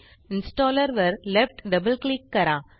installer वर left double click करा